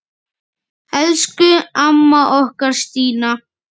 Elsku amma okkar, Stína.